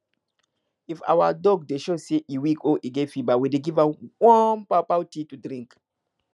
if our duck dey show say e weak or get fever we dey give am warm pawpaw tea to drink